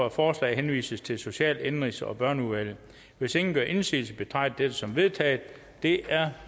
at forslaget henvises til social indenrigs og børneudvalget hvis ingen gør indsigelse betragter jeg dette som vedtaget det er